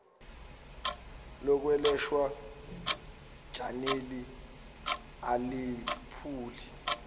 lokwelashwa ganeli alephuli